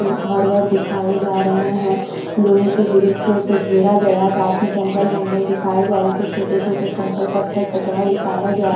घर वर दिखाई जा रहे हैं लोहे की ग्रिल से उसे घेरा गया काफी जंगल बंगल दिखाए जा रहे कुछ छोटे छोटे कंकड़ पत्थर कचड़ा दिखाया जाए--